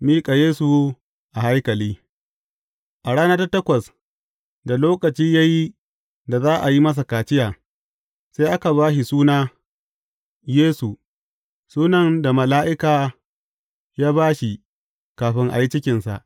Miƙa Yesu a haikali A rana ta takwas, da lokaci ya yi da za a yi masa kaciya, sai aka ba shi suna Yesu, sunan da mala’ika ya ba shi kafin a yi cikinsa.